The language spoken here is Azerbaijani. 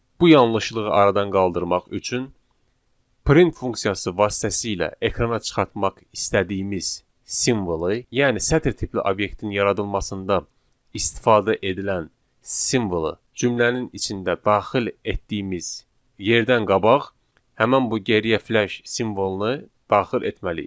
Bu yanlışlığı aradan qaldırmaq üçün print funksiyası vasitəsilə ekrana çıxartmaq istədiyimiz simvolu, yəni sətir tipli obyektin yaradılmasında istifadə edilən simvolu cümlənin içində daxil etdiyimiz yerdən qabaq həmin bu geriyə f-slash simvolunu daxil etməliyik.